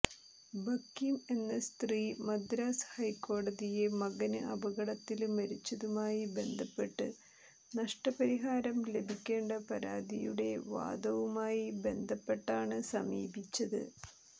ബക്കിം എന്ന സ്ത്രീ മദ്രാസ് ഹൈക്കോടതിയെ മകന് അപകടത്തില് മരിച്ചതുമായി ബന്ധപ്പെട്ട് നഷ്ടപരിഹാരം ലഭിക്കേണ്ട പരാതിയുടെ വാദവുമായി ബന്ധപ്പെട്ടാണ് സമീപിച്ചത്